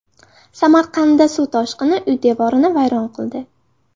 Samarqandda suv toshqini uy devorini vayron qildi .